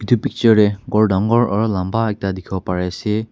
Etu picture te ghor aro lamba ekta dekhi bo Parise.